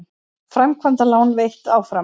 Framkvæmdalán veitt áfram